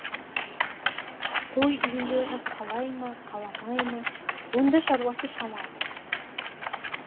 той иелері қалай ма қаламай ма онда шаруасы шамалы